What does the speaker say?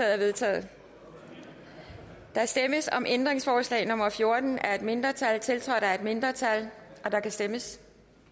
er vedtaget der stemmes om ændringsforslag nummer fjorten af et mindretal tiltrådt af et mindretal og der kan stemmes